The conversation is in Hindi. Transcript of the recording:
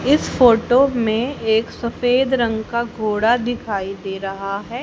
इस फोटो में एक सफेद रंग का घोड़ा दिखाई दे रहा है।